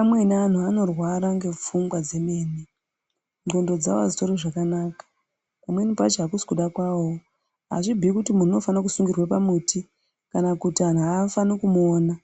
Amweni antu anorwara ngefungwa dzemene ndxondo dzavo hadzitori zvakanaka. Pamweni pacho hakusi kuda kwavovo hazvibhui kuti muntu unofane kusungirirwa pamuti kana kuti antu hafani kumuona.